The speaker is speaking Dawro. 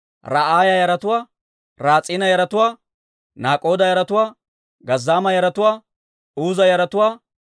Uuza yaratuwaa, Paaseeha yaratuwaa, Besaaya yaratuwaa,